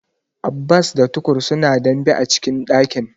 Abbas da Tukur suna dambe a cikin dakin.